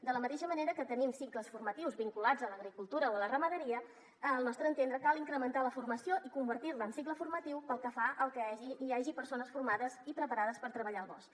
de la mateixa manera que tenim cicles formatius vinculats a l’agricultura o a la ramaderia al nostre entendre cal incrementar la formació i convertir la en cicle formatiu perquè hi hagi persones formades i preparades per treballar el bosc